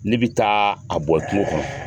Ne bi taa a bɔn kungo kɔnɔ